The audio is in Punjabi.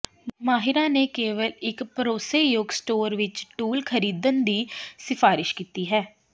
ਮਾਹਿਰਾਂ ਨੇ ਕੇਵਲ ਇੱਕ ਭਰੋਸੇਯੋਗ ਸਟੋਰ ਵਿੱਚ ਟੂਲ ਖਰੀਦਣ ਦੀ ਸਿਫਾਰਸ਼ ਕੀਤੀ ਹੈ